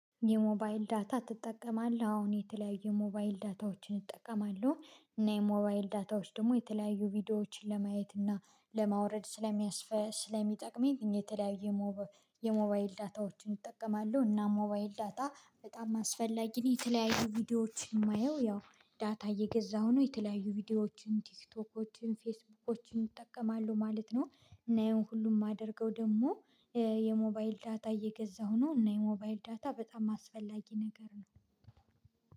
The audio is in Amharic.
የሞባይል ዳታ ትጠቀማለህ አሁን የተለያዩ ሞባይል ዳታዎችን እጠቀማለሁ እና የሞባይል ዳታዎች ደግሞ የተለያዩ ቪዲዮዎችን ለማየት እና ለማውረድ ስለሚጠቅመኝ እኔ የተለያየ የሞባይል ዳታዎችን እጠቀማለሁ እና ሞባይል ዳታ በጣም አስፈላጊ ነው። የተለያዩ ቪዲዮዎች የማየው ያው ዳታ እየገዛሁ ነው የተለያዩ ቪዲዮዎችን ቲክቶኮችን ፌስቡኮችን እጠቀማለሁ ማለት ነው። እና ይሄን ሁሉ የማደርገው ደግሞ የሞባይል ዳታ እየገዛሁ ነው። እና የሞባይል ዳታ በጣም አስፈላጊ ነገር ነው።